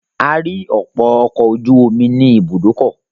A rí ọ̀pọ̀ ọkọ̀ ojú omi ní ibùdókọ̀.